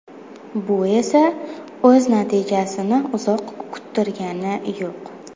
Bu esa o‘z natijasini uzoq kuttirgani yo‘q.